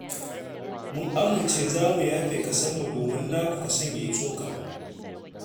Mun amince za mu yafe kasonmu domin naku kason ya yi tsoka.